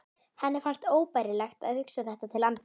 Henni fannst óbærilegt að hugsa þetta til enda.